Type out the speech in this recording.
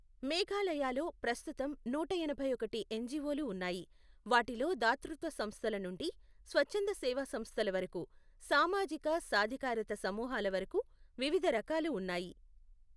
మేఘాలయలో ప్రస్తుతం నూట ఎనభై ఒకటి ఎన్జీఓలు ఉన్నాయి, వాటిలో దాతృత్వ సంస్థల నుండి, స్వచ్ఛంద సేవా సంస్థల వరకు, సామాజిక సాధికారత సమూహాల వరకు వివిధ రకాలు ఉన్నాయి.